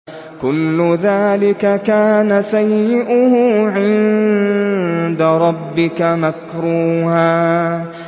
كُلُّ ذَٰلِكَ كَانَ سَيِّئُهُ عِندَ رَبِّكَ مَكْرُوهًا